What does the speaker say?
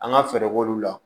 An ka fɛɛrɛ k'olu la